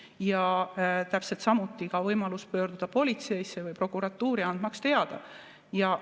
Täpselt samuti võimalus pöörduda politseisse või prokuratuuri, andmaks teada.